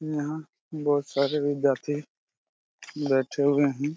यहा बहुत सारे लोग जाते है बैठे हुए है|